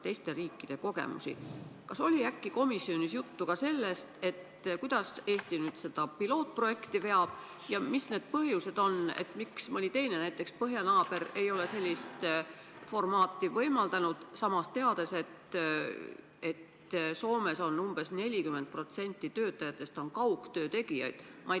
Kas oli komisjonis äkki juttu ka sellest, kuidas Eesti nüüd seda pilootprojekti veab ja mis on need põhjused, miks mõni teine, näiteks meie põhjanaaber, ei ole sellist formaati võimaldanud, samas teame, et Soomes on umbes 40% töötajatest kaugtöö tegijad.